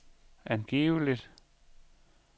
angiveligt